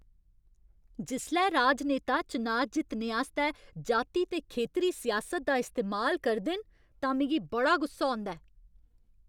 जिसलै राजनेता चनाऽ जित्तने आस्तै जाति ते खेतरी सियासत दा इस्तेमाल करदे न तां मिगी बड़ा गुस्सा औंदा ऐ।